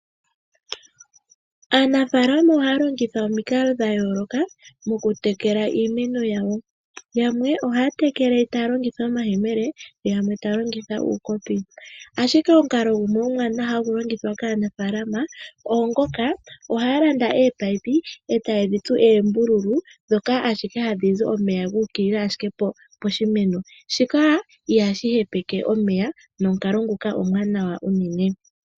Aanafaalama ohaya longitha omikalo dhayooloka mokutekela iimeno yawo. Yamwe ohaya tekele taya longitha omayemele , yamwe taya longitha uukopi . Ashike omukalo ngono omwaanawa hagu longithwa kaanafaalama oongoka haya landa ominino , etayedhi tsu oombululu , ndhoka hadhi zi omeya guukilila ashike piimeno. Shika ihashi hepeke omeya nomukalo nguka omwaanawa unene.